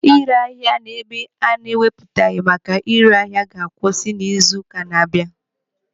Ịre ahịa n'ebe ana-ewupụtaghị maka ịre ahịa ga-akwụsị n'izu ụka na-abịa abịa.